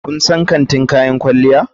Kun san kantin kayan kwalliya?